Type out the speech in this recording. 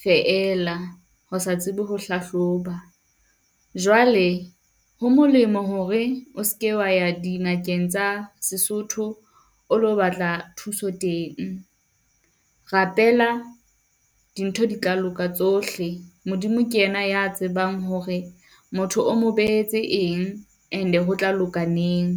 feela ho sa tsebe ho hlahloba. Jwale ho molemo hore o seke wa ya dingakeng tsa Sesotho o lo batla thuso teng. Rapela dintho di tla loka tsohle. Modimo ke ena ya tsebang hore motho o mo beetse eng, and-e hotla loka neng?